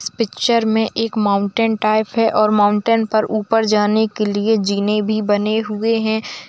इस पिक्चर मे एक माउंटेन टाइप है और माउंटेन पर ऊपर जाने के लिए जीने भी बने हुए है।